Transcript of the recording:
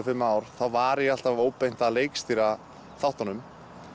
fimm ár var ég alltaf óbeint að leikstýra þáttunum